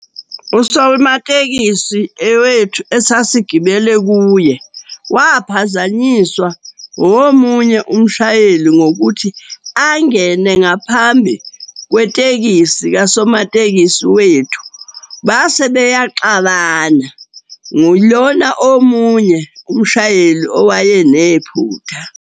Usomatekisi wethu esasigibele kuye waphazanyiswa omunye umshayeli ngokuthi angene ngaphambi kwetekisi kasomatekisi wethu, base beyaxabana. Ngulona omunye umshayeli owayenephutha.